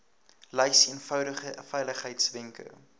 lys eenvoudige veiligheidswenke